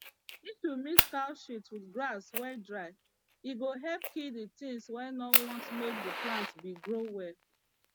if you mix cow shit with grass wey dry e go help kill the things wey no want make the plant bin grow well